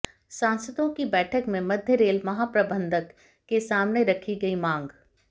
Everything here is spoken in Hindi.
सांसदों की बैठक में मध्य रेल महाप्रबंधक के सामने रखी गई मांग